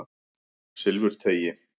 Silfurteigi